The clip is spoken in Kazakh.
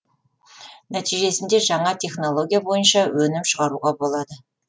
нәтижесінде жаңа технология бойынша өнім шығаруға болады